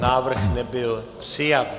Návrh nebyl přijat.